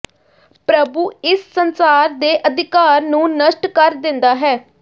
ਪ੍ਰਭੂ ਇਸ ਸੰਸਾਰ ਦੇ ਅਧਿਕਾਰ ਨੂੰ ਨਸ਼ਟ ਕਰ ਦਿੰਦਾ ਹੈ